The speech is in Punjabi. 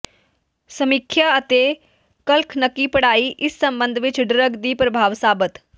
ਸਮੀਖਿਆ ਅਤੇ ਕਖਲਨਕੀ ਪੜ੍ਹਾਈ ਇਸ ਸਬੰਧ ਵਿਚ ਡਰੱਗ ਦੀ ਪ੍ਰਭਾਵ ਸਾਬਤ